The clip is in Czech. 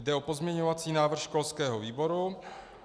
Jde o pozměňovací návrh školského výboru.